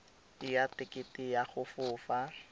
ya tekete ya go fofa